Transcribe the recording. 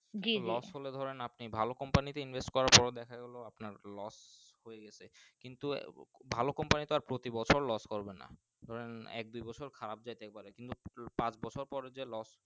জি জি Los হলেই আপনি ভালো Compani তে Invest করো তাহলে দেখা গেল আপনার Los হয়ে গাছে কিন্তু ভালো Compani Los করে না কারণ এক দুই বছর খারাপ যেতেই পারে কিন্তু পাঁচ বছর পর যে Los